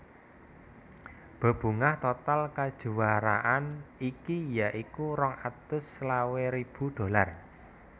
Bebungah total kajuwaraan iki ya iku rong atus selawe ribu dolar